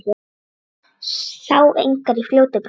Sá engar í fljótu bragði.